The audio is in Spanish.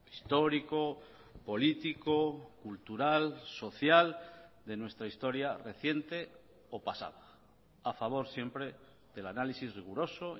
histórico político cultural social de nuestra historia reciente o pasada a favor siempre del análisis riguroso